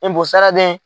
Npo saradɛ